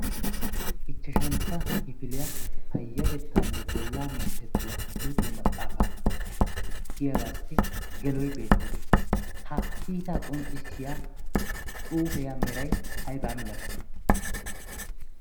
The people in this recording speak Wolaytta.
ichchashantta kifiliyaa payyatettaanne bollaa minttettuwaa luxiyoo maxaafaa' giyaagaassi geloy beettees. ha kiitaa qonccissiya xuufeya meray aybaa milatii?